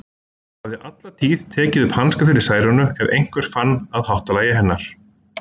Hún hafði alla tíð tekið upp hanskann fyrir Særúnu ef einhver fann að háttalagi hennar.